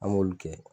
An m'olu kɛ